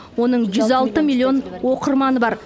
оның жүз алты миллион оқырманы бар